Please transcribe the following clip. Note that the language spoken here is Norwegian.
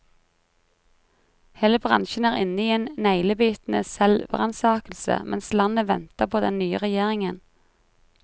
Hele bransjen er inne i en neglebitende selvransakelse mens landet venter på den nye regjeringen.